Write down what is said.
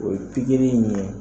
O ye pikiri ɲɛ.